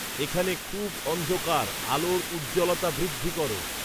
এখানে খুব অন্ধকার আলোর উজ্জ্বলতা বৃদ্ধি করো